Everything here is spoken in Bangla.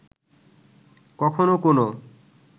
কখনো কোনো